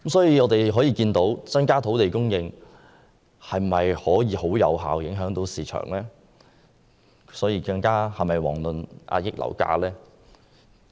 由此可見，增加土地供應未必能有效影響市場，更遑論遏抑樓價。